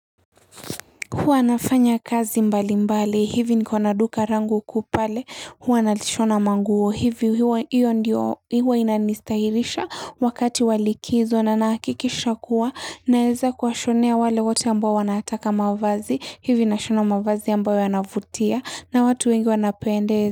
Huwa nafanya kazi mbali mbali, hivi niko na duka langu kuu pale, huwa nalishona manguo, hivi, hiyo ndiyo, huwa inanistahirisha wakati wa likizo na nahakikisha kuwa naeza kuwashonea wale wote ambao wanataka mavazi, hivi nashona mavazi ambayo yanavutia na watu wengi wanapendezwa.